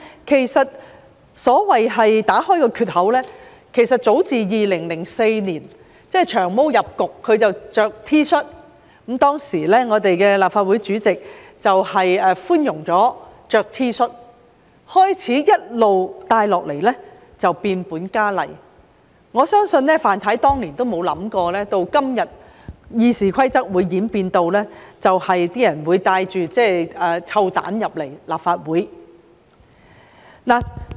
其實，所謂打開缺口，早自2004年，即"長毛"進入立法會穿 T 恤出席會議開始，當時的立法會主席容許議員穿 T 恤，自始情況一直變本加厲，我相信范太當年也沒有想過，今天會演變至有人帶臭蛋進入立法會。